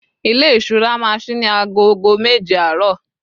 ilé ìṣura ma sí ní agogo méje àárò